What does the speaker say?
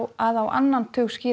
að á annan tug